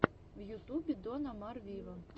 в ютубе дон омар виво